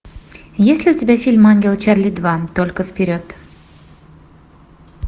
есть ли у тебя фильм ангелы чарли два только вперед